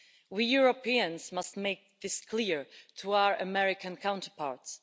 We Europeans must make this clear to our American counterparts.